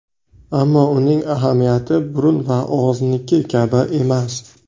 Ammo uning ahamiyati burun va og‘izniki kabi emas.